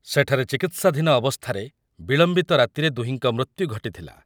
ସେଠାରେ ଚିକିତ୍ସାଧୀନ ଅବସ୍ଥାରେ ବିଳମ୍ବିତ ରାତିରେ ଦୁହିଁଙ୍କ ମୃତ୍ୟୁ ଘଟିଥିଲା ।